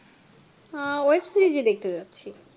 আহ শুধু web-series ই দেখতে চাইছি